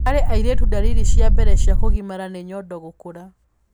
Harĩ airĩtu ndariri cia mbere cia kũgimara nĩ nyondo gũkũra.